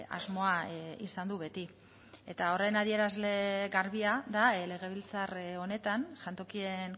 asmoa izan du beti eta horren adierazle garbia da legebiltzar honetan jantokien